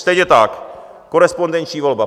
Stejně tak korespondenční volba.